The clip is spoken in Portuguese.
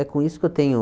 É com isso que eu tenho